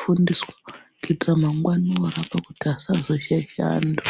fundiswa kuitira mangwani orapa asazo shaisha antu.